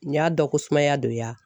Nin y'a dɔn ko sumaya don ya